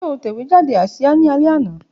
Ṣe o tẹ̀wejàde asia ni alẹ ana?